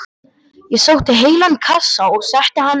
Ég sótti heilan kassa og setti hann upp á borð.